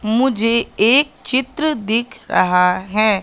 मुझे एक चित्र दिख रहा है।